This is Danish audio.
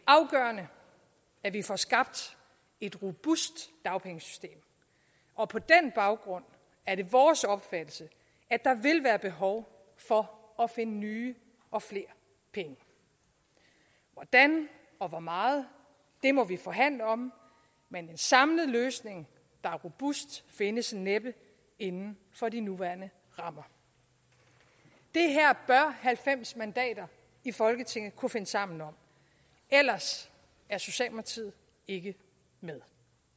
er vi får skabt et robust dagpengesystem og på den baggrund er det vores opfattelse at der vil være behov for at finde nye og flere penge hvordan og hvor meget må vi forhandle om men en samlet løsning der er robust findes næppe inden for de nuværende rammer det her bør halvfems mandater i folketinget kunne finde sammen om ellers er socialdemokratiet ikke med